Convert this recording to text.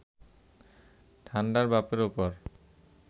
ঠান্ডার বাপের ওপর